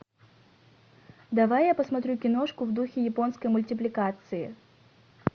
давай я посмотрю киношку в духе японской мультипликации